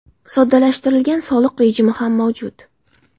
Soddalashtirilgan soliq rejimi ham mavjud.